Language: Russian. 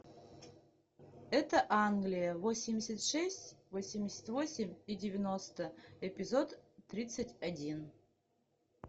это англия восемьдесят шесть восемьдесят восемь и девяносто эпизод тридцать один